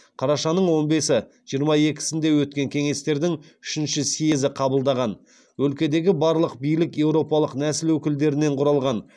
қарашаның он бесі жиырма екісінде өткен кеңестердің үшінші съезі қабылдаған өлкедегі барлық билік еуропалық нәсіл өкілдерінен кұралған